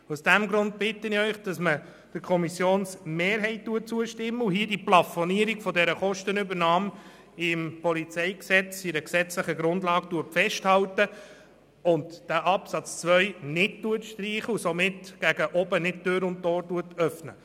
Aus diesem Grund bitte ich Sie, der Kommissionsmehrheit zu folgen und die Plafonierung der Kostenübernahme im PolG festzuhalten, das heisst, den Absatz 2 nicht zu streichen und nicht gegen oben Tür und Tor zu öffnen.